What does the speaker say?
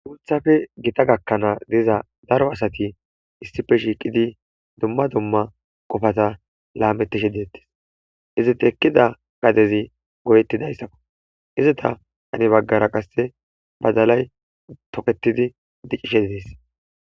Guuthafe gita gakkanaa diza daro asati issife shiiqidi dumma dumma qofata laamettishe deettis iziti ekkida gadezi goyetti dayssakko izita ane baggara qasse badalay toketidi dicishe didees.